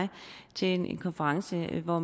til en konference hvor